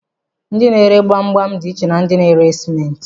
Ndi na-ere gbamgbam dị iche na ndị na-ere simenti.